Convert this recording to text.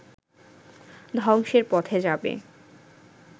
ধ্বংসের পথে যাবে